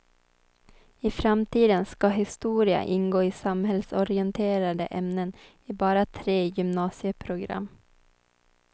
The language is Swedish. I framtiden ska historia ingå i samhällsorienterande ämnen i bara tre gymnasieprogram.